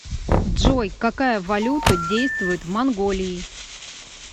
джой какая валюта действует в монголии